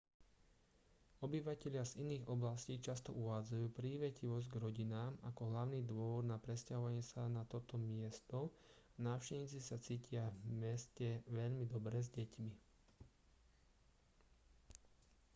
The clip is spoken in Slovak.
obyvatelia z iných oblastí často uvádzajú prívetivosť k rodinám ako hlavný dôvod na presťahovanie sa na toto miesto a návštevníci sa cítia v meste veľmi dobre s deťmi